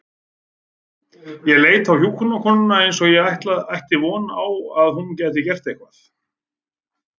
Ég leit á hjúkrunarkonuna eins og ég ætti von á að hún gæti gert eitthvað.